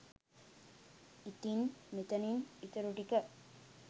ඉතින් මෙතනින් ඉතුරුටික